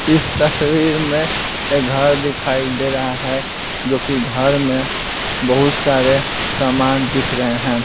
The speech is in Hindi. इस तस्वीर में एक घर दिखाई दे रहा है जो कि घर में बहुत सारे सामान दिख रहे हैं।